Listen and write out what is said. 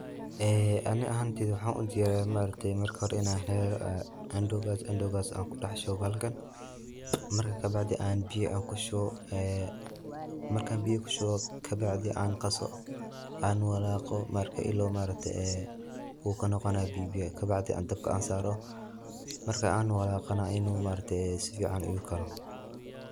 Aniga ahantey marka waxa ubahanahay in an helo andowgas, kaso an kudexshubo bahalkan marka kadib an kushubo biyo kabacdi an qaso oo sn walaqo ila uu kanoqonayo biyo biyo kabacdi dabka an saro marka an walaqana maaragte uu sifican igukaro.